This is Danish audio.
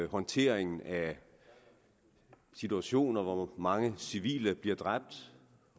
håndteringen af situationer hvor mange civile bliver dræbt